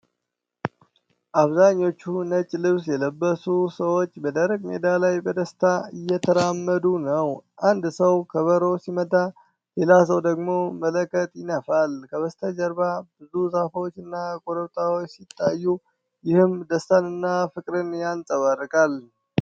አብዛኞቹ ነጭ ልብስ የለበሱ ሰዎች በደረቅ ሜዳ ላይ በደስታ እየተራመዱ ነው። አንድ ሰው ከበሮ ሲመታ፣ ሌላ ሰው ደግሞ መለከት ይነፋል። ከበስተጀርባ ብዙ ዛፎች እና ኮረብታዎች ሲታዩ፣ ይህም ደስታን እና ፍቅርን ያንፀባርቃል።